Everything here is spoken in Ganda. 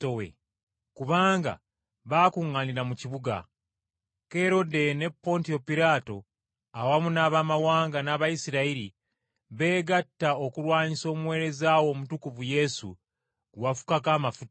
Kubanga baakuŋŋaanira mu kibuga. Kerode ne Pontiyo Piraato, awamu n’Abamawanga, n’Abayisirayiri, beegatta okulwanyisa Omuweereza wo Omutukuvu Yesu gwe wafukako amafuta,